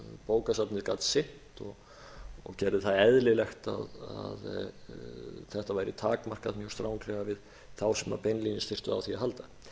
bókasafnið gat sinnt og gerði það eðlilegt að þetta væri takmarkað mjög stranglega við þá sem beinlínis þurftu á því að halda